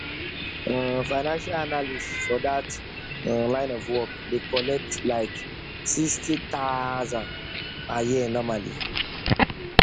um financial analyst for that um line of work dey collect like sixty thousand per year normally